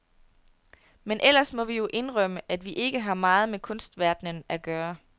Men ellers må vi jo indrømme, at vi ikke har meget med kunstverdenen at gøre.